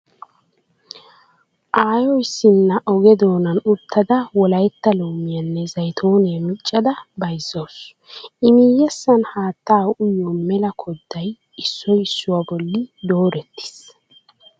Aayo issinna oge doonan uttada Wolaytta loomiya nne zaytooniya miccada bayzzawusu. I miyyessan haattaa uyiyo mela kodday issoy issuwa bolli doorettiis.